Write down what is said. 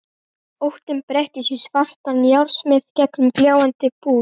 Óttinn breytist í svartan járnsmið með gljáandi búk.